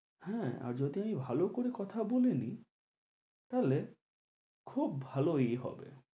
হ্যাঁ আর যদি আমি ভালো করে কথা বলে নি তাহলে খুব ভালোই হবে